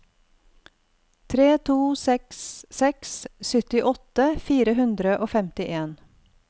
tre to seks seks syttiåtte fire hundre og femtien